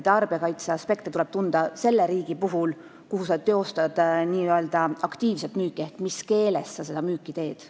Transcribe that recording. Tarbijakaitseaspekte tuleb tunda selles riigis, kus sa teostad n-ö aktiivset müüki, ehk oluline on, mis keeles sa seda müüki teed.